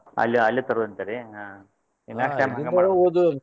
ಅಲ್ಲೇ ಅಲ್ಲೇ ತರುದ್ ಅಂತೇರಿ ಹ next time ಹಂಗ .